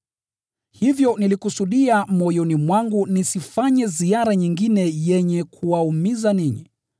Hivyo nilikusudia moyoni mwangu nisifanye ziara nyingine yenye kuwaumiza ninyi.